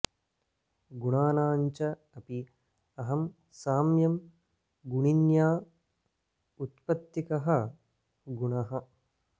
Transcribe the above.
गुणानां च अपि अहं साम्यं गुणिन्या उत्पत्तिकः गुणः